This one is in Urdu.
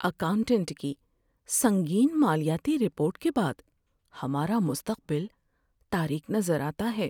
اکاؤنٹنٹ کی سنگین مالیاتی رپورٹ کے بعد ہمارا مستقبل تاریک نظر آتا ہے۔